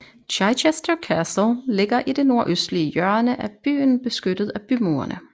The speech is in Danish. Chichester Castle ligger i det nordøstlige hjørne af byen beskyttet af bymurene